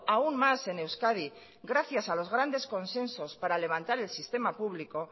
aun más en euskadi gracias a los grandes consensos para levantar el sistema público